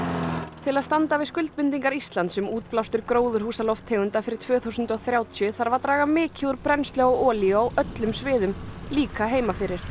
til að standa við skuldbindingar Íslands um útblástur gróðurhúsalofttegunda fyrir tvö þúsund og þrjátíu þarf að draga mikið úr brennslu á olíu á öllum sviðum líka heima fyrir